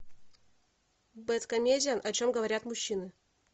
бед комедиан о чем говорят мужчины